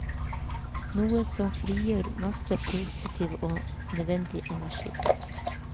Noe som frigjør masse positiv og nødvendig energi.